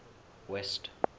west